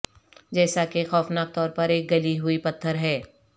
جیسا کہ خوفناک طور پر ایک گلی ہوئی پتھر ہے